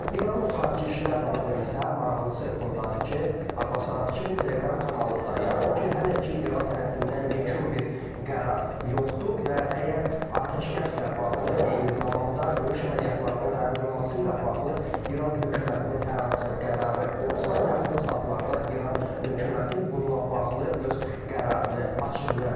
İranın xarici İşlər naziri isə maraqlısı bundadır ki, Abbas Araqçı Telegram kanalında yazıb ki, hələ ki İran tərəfindən yekun bir qərar yoxdur və əgər atəşkəslə bağlı, eyni zamanda döyüş əməliyyatlarının dayandırılması ilə bağlı İran hökumətinin hər hansısa qərarı olsa, yaxın saatlarda İran hökuməti bununla bağlı öz qərarını açıqlayacaq.